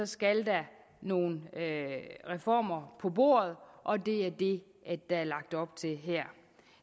skal der nogle reformer på bordet og det er det der er lagt op til her